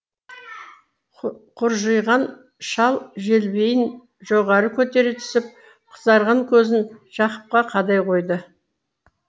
құржиған шал желбейін жоғары көтере түсіп қызарған көзін жақыпқа қадай қойды